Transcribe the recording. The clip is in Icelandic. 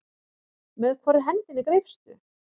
Með hvorri hendinni greipstu?